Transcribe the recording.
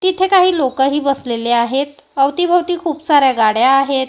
तिथं काही लोकही बसलेली आहेत अवतीभवती खूप साऱ्या गाड्या आहेत.